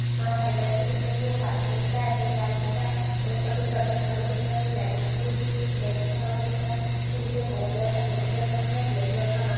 घास हरे कलर की दिख रही है और आसमान दिख रहा है आसमान रेड दिख रहा है और यहाँ कुछ पर्सन खड़े हुए दिख रहे है एक लेडिज खड़ी हुई दिख रही एक जैंट्स खड़ा हुआ दिख रहा जिसने हरे कलर का जैकिट पहन रखा है। ब्लैक कलर का मास्क --